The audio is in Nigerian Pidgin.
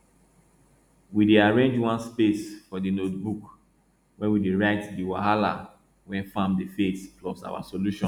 we dey arrange one space for di notebook wey we dey write di wahala wey farm dey face plus our solution